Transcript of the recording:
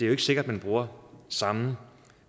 er sikkert man bruger samme